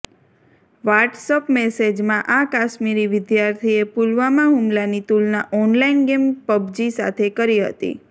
WhatsApp મેસેજમાં આ કાશ્મીરી વિધાર્થીએ પુલવામાં હુમલાની તુલના ઓનલાઇન ગેમ પબજી સાથે કરી હતી